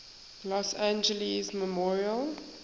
los angeles memorial